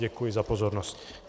Děkuji za pozornost.